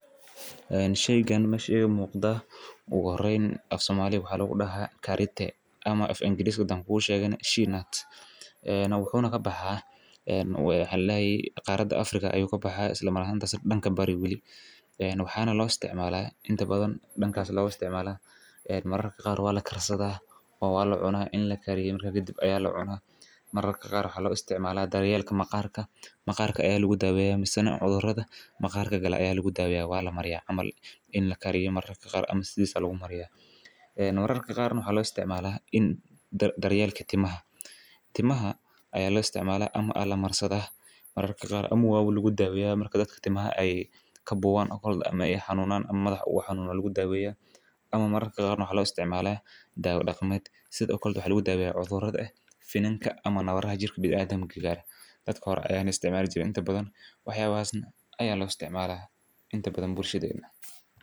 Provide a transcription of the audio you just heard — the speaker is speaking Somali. Shaygan meeshan iga muuqda ugu horeyn afsoomali waxaa lagu dhahaa kaaritte ama of ingiriiska hadan kuusheega shell nut. ee Wuxuu na ka baxaa, waxa laayey qaarada Afrika ayuu ka baxaas la mar khasa dhanka bareewil. Waxaana loo isticmaalaa inta badan dhankaas loo isticmaalaa mararka qaarka waa la kararsada waa la cuno in la karin ka gidib ayaa la cuno. Mararka qaarka loo isticmaalaa daryeelka maqaarka. Maqaarka ayaa lagu daaweyaa misano cudurada. Maqaarka gala ayaa lagu daaweyaa waa la mariya amal in la kari mararka qaar ama sidis lagu mariya. Mararka qaarka nuha loo isticmaalaa in daryeelka timaha timaha ay loo isticmaalaa ama ala marsada. Mararka qaar amma waaw lugu daaweyaa marka dadka timaha ay ka buwaan akoonadda ama iyax hanuunaan ama madax ugu waa xanuuna lagu daaweyaa. Ama mararka qaarka nuha loo isticmaalaa daawo dhaqamayd sidakoo kaldu xiguu daaweyaa cudurrada ah, finanka ama nabadhaha jirka bidaamiga gaar. Dadka hor ayaan isticmaali jirin inta badan waxyoo aheysan ayaa loo isticmaalaa inta badan bulshadeedna.